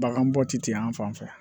Bagan bɔ ti di an fan fɛ